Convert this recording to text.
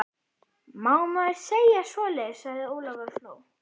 Má maður segja svoleiðis? sagði Ólafur og hló.